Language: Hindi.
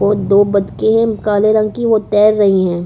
और दो बतखे है जो काले रंग की वो तैर रही है।